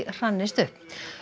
hrannist upp